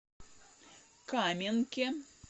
каменке